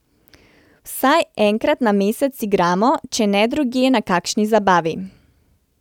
Vsaj enkrat na mesec igramo, če ne drugje na kakšni zabavi.